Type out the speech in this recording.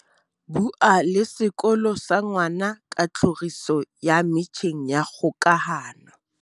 Bua le sekolo sa ngwana ka tlhoriso ya metjheng ya kgokahano.